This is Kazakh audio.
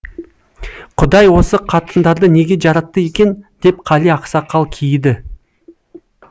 құдай осы қатындарды неге жаратты екен деп қали ақсақал кейіді